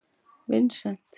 Vincent